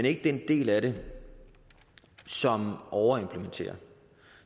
ikke den del af det som overimplementerer og